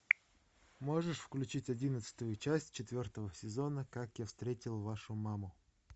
можешь включить одиннадцатую часть четвертого сезона как я встретил вашу маму